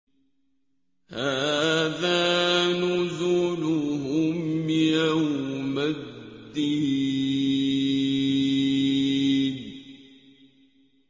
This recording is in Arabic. هَٰذَا نُزُلُهُمْ يَوْمَ الدِّينِ